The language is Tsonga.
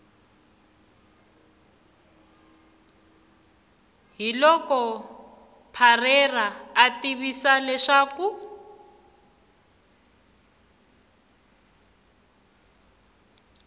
hiloko parreira a tivisa leswaku